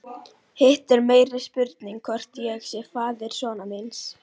Hitt er meiri spurning hvort ég sé faðir sonar míns.